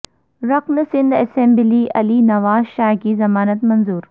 رکن سندھ اسمبلی علی نواز شاہ کی ضمانت منظور